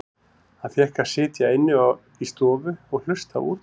Hann fékk að sitja inni í stofu og hlusta á útvarpið.